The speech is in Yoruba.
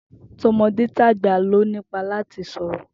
To̩mo̩détàgbà ló ní ipá láti lè sò̩rò̩